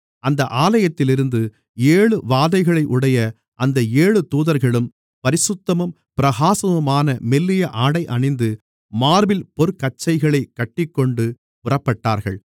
அந்த ஆலயத்திலிருந்து ஏழு வாதைகளையுடைய அந்த ஏழு தூதர்களும் பரிசுத்தமும் பிரகாசமுமான மெல்லிய ஆடையணிந்து மார்பில் பொற்கச்சைகளைக் கட்டிக்கொண்டு புறப்பட்டார்கள்